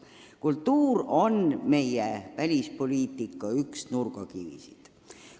Kultuur on üks meie välispoliitika nurgakivisid.